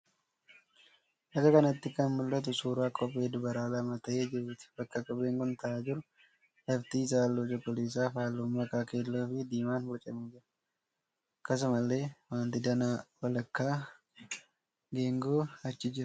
Bakka kanatti kan mul'atu suuraa kophee dubaraa lama ta'ee jiruuti. Bakka kopheen kun ta'aa jiru lafti isaa halluu cuquliisaa fi halluu makaa keelloo fi diimaan bocamee jira. Akkasumallee waanti danaa walakkaa geengoo achi jira.